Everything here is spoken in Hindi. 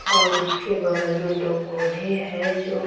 और उसके बगल में दो पौधे हैं जो--